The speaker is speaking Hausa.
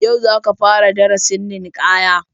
Yau za ka fara darasin ninkaya